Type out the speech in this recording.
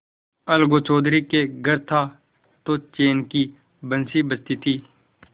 अलगू चौधरी के घर था तो चैन की बंशी बजती थी